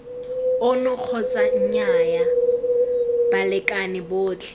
ono kgotsa nnyaa balekane botlhe